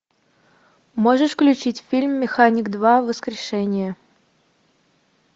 можешь включить фильм механик два воскрешение